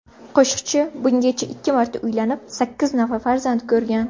Qo‘shiqchi bungacha ikki marta uylanib, sakkiz nafar farzand ko‘rgan.